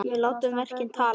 Við látum verkin tala!